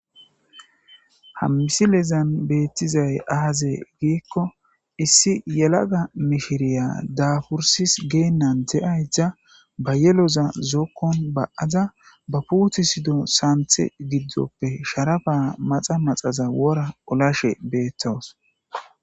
Hammisi lezan beettizay aaze giikko issi yelaga mihiriya daafursis geennan de7ay da ba yeloza zookkon ba7aza ba puuthi sido saanthe giddoppe sharafa maxa maxaza wora olashe beettowus.